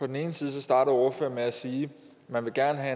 den ene side starter ordføreren med at sige at man gerne